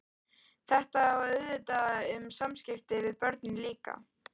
Þetta á auðvitað við um samskipti við börnin líka.